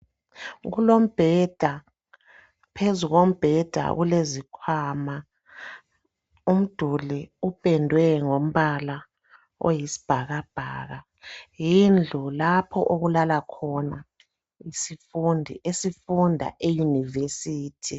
Kulombheda, phezu kombheda kulezikhwama. Umduli upendwe ngombala oyisibhakabhaka yindlu lapho okulala khona isifundi esifunda eyunivesithi.